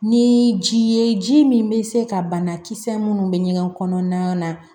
Ni ji ye ji min bɛ se ka banakisɛ minnu bɛ ɲɛgɛn kɔnɔna na